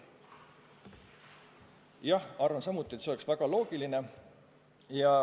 Ma arvan samuti, et see oleks väga loogiline.